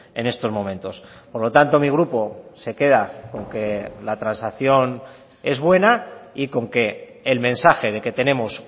en estos momentos por lo tanto mi grupo se queda con que la transacción es buena y con que el mensaje de que tenemos